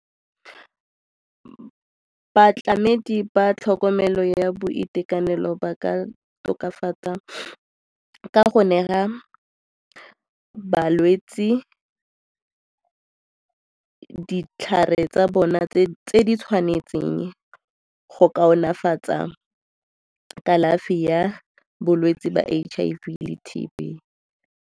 Batlamedi ba tlhokomelo ya boitekanelo ba ka tokafatsa ka go neela balwetse ditlhare tsa bona tse di tshwanetseng go kaonefatsa kalafi ya bolwetse ba H_I_V le T_B.